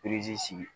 sigi